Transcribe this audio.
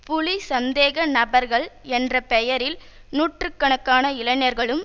புலி சந்தேக நபர்கள் என்ற பெயரில் நூற்று கணக்கான இளைஞர்களும்